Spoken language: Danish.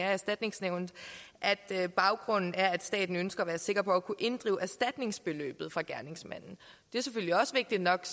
af erstatningsnævnet at baggrunden er at staten ønsker at være sikker på at kunne inddrive erstatningsbeløbet fra gerningsmanden det er selvfølgelig også vigtigt nok